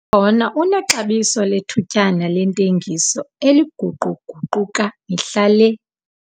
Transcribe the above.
Umbona unexabiso lethutyana lentengiso eliguquguquka mihla le